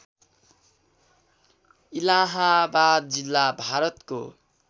इलाहाबाद जिल्ला भारतको